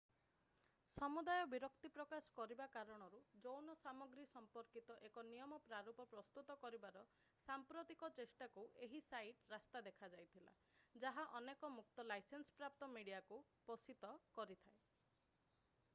ସମୁଦାୟ ବିରକ୍ତିପ୍ରକାଶ କରିବା କାରଣରୁ ଯୌନ ସାମଗ୍ରୀ ସମ୍ପର୍କିତ ଏକ ନିୟମ ପ୍ରାରୂପ ପ୍ରସ୍ତୁତ କରିବାର ସାମ୍ପ୍ରତିକ ଚେଷ୍ଟାକୁ ଏହି ସାଇଟ୍ ରାସ୍ତା ଦେଖାଇଥିଲା ଯାହା ଅନେକ ମୁକ୍ତ ଲାଇସେନ୍ସପ୍ରାପ୍ତ ମିଡିଆକୁ ପୋଷିତ କରିଥାଏ